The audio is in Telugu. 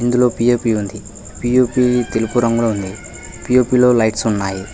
ఇందులో పి_ఓ_పి ఉంది పి_ఓ_పి తెలుపు రంగులో ఉంది పి_ఓ_పి లో లైట్స్ ఉన్నాయి.